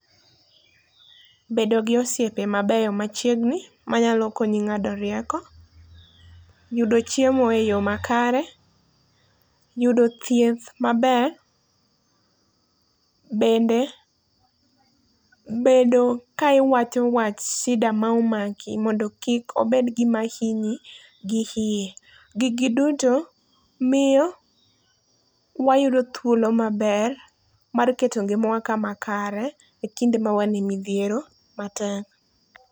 Bedo gi osiepe mabeyo machiegni manyalo konyi ng'ado rieko, yudo chiemo e yoo makare, yudo thieth maber, bende bedo ka iwacho wach shida maomaki mondo kik obed gima hinyi gi hie. Gigi duto mio wayudo thuolo maber mar keto ngimawa kama kare e kinde ma wane midhiero matek.